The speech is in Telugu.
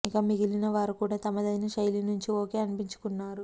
ఇక మిగిలిన వారు కూడా తమదైన శైలి నుంచి ఓకే అనిపించుకున్నారు